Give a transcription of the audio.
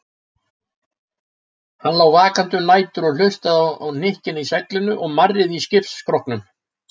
Hann lá vakandi um nætur og hlustaði á hnykkina í seglinu og marrið í skipsskrokknum.